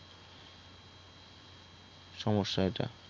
সমস্যা এইটা